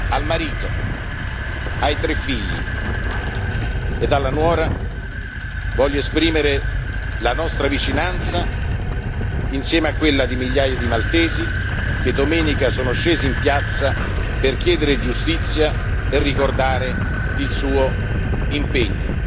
Al marito, ai tre figli ed alla nuora voglio esprimere la nostra vicinanza, insieme a quella di migliaia di maltesi che domenica sono scesi in piazza per chiedere giustizia e ricordare il suo impegno.